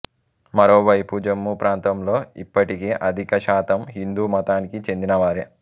మరోవైపు జమ్మూ ప్రాంతంలో ఇప్పటికీ అధిక శాతం హిందూ మతానికి చెందిన వారే